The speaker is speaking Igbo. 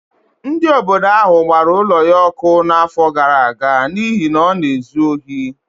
Ndị obodo ahụ gbara ụlọ ya ọkụ n’afọ gara aga n’ihi na ọ na-ezu ohi.